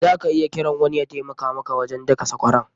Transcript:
Za ka iya kiran wani ya taimaka maka wajen daka sakwaran.